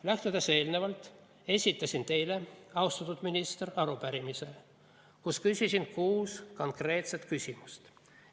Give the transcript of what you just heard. Lähtudes eelnevast esitasin teile, austatud minister, arupärimise, kus küsisin kuus konkreetset küsimust.